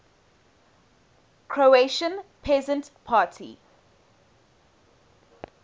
croatian peasant party